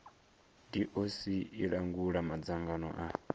doc i langula madzangano a